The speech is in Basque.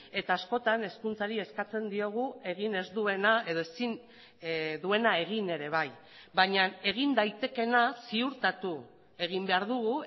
eta askotan hezkuntzari eskatzen diogu egin ez duena edo ezin duena egin ere bai baina egin daitekeena ziurtatu egin behar dugu